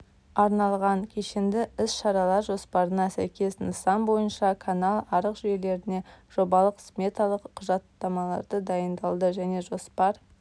арналған кешенді іс шаралар жоспарына сәйкес нысан бойынша канал-арық жүйелеріне жобалық-сметалық құжаттамалары дайындалды және жоспар